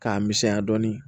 K'a misɛnya dɔɔnin